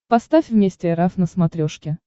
поставь вместе эр эф на смотрешке